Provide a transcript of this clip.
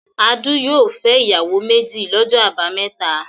Adu yóò fẹ́ ìyàwó méjì lọ́jọ́ àbámẹ́ta.